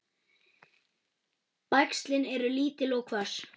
Bægslin eru lítil og hvöss.